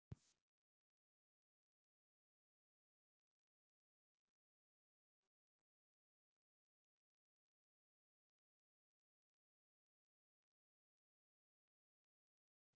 Mörg hugtök erfðafræðinnar eru ekki almennt á vörum fólks.